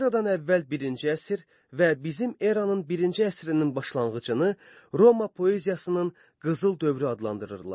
Eradan əvvəl birinci əsr və bizim eranın birinci əsrinin başlanğıcını Roma poeziyasının qızıl dövrü adlandırırdılar.